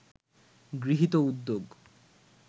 গৃহীত উদ্যোগ